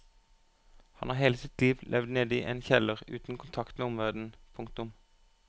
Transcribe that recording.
Han har hele sitt liv levd nede i en kjeller uten kontakt med omverdenen. punktum